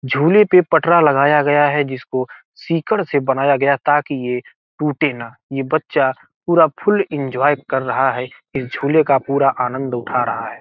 झूले पे पटरा लगया गया है जिसको सिकड़ से बनाया गया ताकि ये टूटे ना ये बच्चा पूरा फुल इन्जॉय कर रहा इस झूले का पूरा आनंद उठा रहा है।